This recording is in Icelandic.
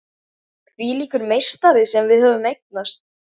Hvílíkur meistari sem við höfum eignast!